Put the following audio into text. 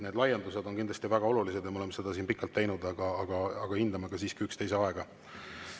Need laiendused on kindlasti väga olulised ja me oleme neid siin pikalt teinud, aga hindame siiski ka üksteise aega.